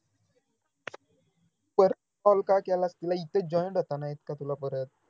परत call का केलास तिला इथं joint होता ना इतका तुला परत